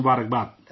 thank you